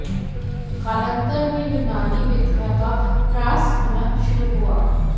कालांतर में यूनानी विद्या का ह्रास होना शुरू हुआ